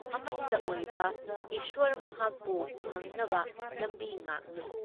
ꯑꯃꯠꯇ ꯑꯣꯏꯕ ꯏꯁ꯭ꯋꯔ ꯃꯍꯥꯛꯄꯨ ꯐꯪꯅꯕ ꯂꯝꯕꯤ ꯉꯥꯛꯅꯤ ꯫